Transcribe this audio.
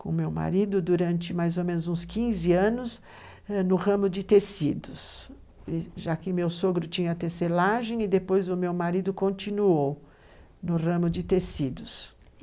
com meu marido durante mais ou menos uns 15 anos no ramo de tecidos, já que meu sogro tinha tecelagem e depois o meu marido continuou no ramo de tecidos.